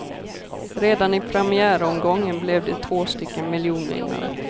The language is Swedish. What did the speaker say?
Redan i premiäromgången blev det två stycken miljonvinnare.